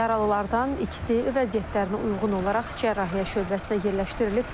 Yaralılardan ikisi vəziyyətlərinə uyğun olaraq cərrahiyyə şöbəsinə yerləşdirilib.